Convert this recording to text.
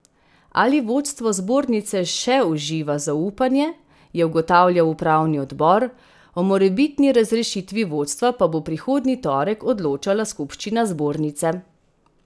Ali vodstvo zbornice še uživa zaupanje, je ugotavljal upravni odbor, o morebitni razrešitvi vodstva pa bo prihodnji torek odločala skupščina zbornice.